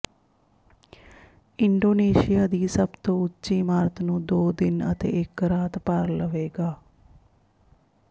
Indonesia ਦੀ ਸਭ ਤੋਂ ਉੱਚੀ ਇਮਾਰਤ ਨੂੰ ਦੋ ਦਿਨ ਅਤੇ ਇੱਕ ਰਾਤ ਭਰ ਲਵੇਗਾ